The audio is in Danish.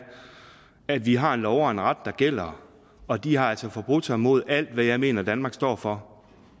at vi har en lov og en ret der gælder og de har altså forbrudt sig mod alt hvad jeg mener danmark står for